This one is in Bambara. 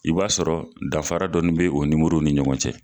I b'a sɔrɔ dafafara dɔɔni bɛ o nimorow ni ɲɔgɔn cɛ.